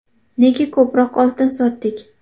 Nega ko‘proq oltin sotdik?